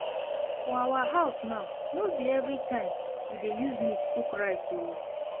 For our house now, no be everytime we dey use meat cook rice oo